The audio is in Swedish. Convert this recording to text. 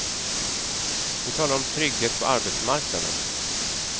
Vi talar om trygghet på arbetsmarknaden.